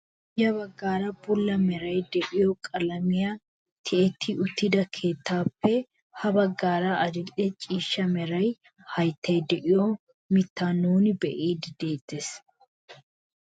Ya baggaara bulla meray de'iyoo qalamiyaan tiyetti uttida keettappe ha baggaara adil'e ciishsha mera hayttay de'iyo mittaa nuuni be'iidi de'ettees.